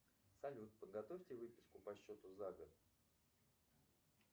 салют подготовьте выписку по счету за год